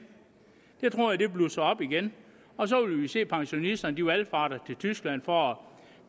det tror jeg blusser op igen og så vil vi se at pensionisterne valfarter til tyskland for